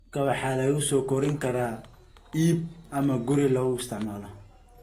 Kalluunka waxaa lagu soo korin karaa iib ama guri lagu isticmaalo.